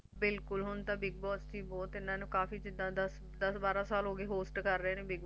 ਬਿਲਕੁਲ ਹੁਣ ਤਾਂ Big Boss ਚ ਵੀ ਬਹੁਤ ਇਹਨਾਂ ਨੂੰ ਜਿੱਦਾ ਦਸ ਬਾਰਾਂ ਸਾਲ ਹੋ ਗਏ Host ਕਰ ਰਹੇ ਨੇ Big Boss